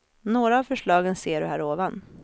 Några av förslagen ser du här ovan.